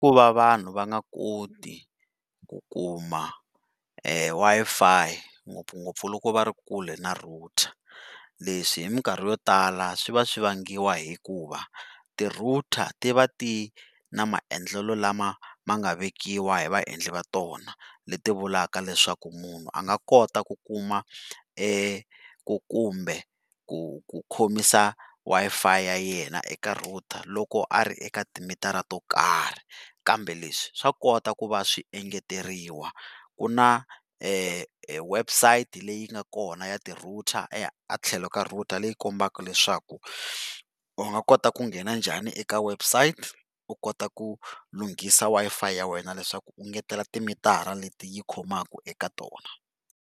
Ku va vanhu va nga koti ku kuma Wi-Fi ngopfungopfu loku va ri kule na router leswi hi mikarhi yo tala swi va swi vangiwa hikuva ti-router ti va ti ri na maendlelo lama ma nga vekiwa hi vaendli va tona, leti vulaka leswaku munhu a nga kota ku kuma ku kumbe ku khomisa Wi-Fi ya yena eka router loko a ri eka timitara to karhi, kambe leswi swa kota ku va swi engeteriwa ku na website leyi nga kona ya ti-router a tlhelo ka router leyi kombaka leswaku u nga kota ku nghena njhani eka website u kota ku lunghisa Wi-Fi ya wena leswaku u ngetela timitara leti yi khomaka eka tona.